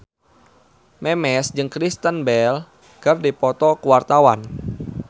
Memes jeung Kristen Bell keur dipoto ku wartawan